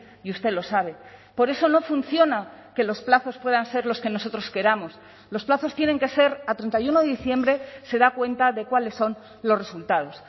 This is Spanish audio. y usted lo sabe por eso no funciona que los plazos puedan ser los que nosotros queramos los plazos tienen que ser a treinta y uno de diciembre se da cuenta de cuáles son los resultados